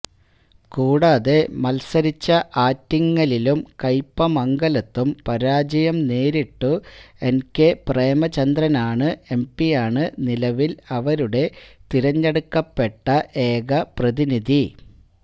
കൂടാതെ മത്സരിച്ച ആറ്റിങ്ങലിലും കയ്പ്പമംഗലത്തും പരാജയം നേരിട്ടു എൻകെ പ്രേമചന്ദ്രനാണ് എംപിയാണ് നിലവില് അവരുടെ തെരഞ്ഞെടുക്കപ്പെട്ട ഏക പ്രതിനിധി